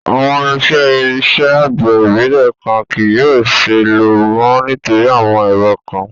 Awọn irinṣẹ iṣẹ agbẹ ibilẹ kan kii yóò ṣee lo mọ nitori awọn ẹrọ kan